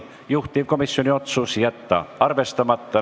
Juhtivkomisjoni otsus: jätta arvestamata.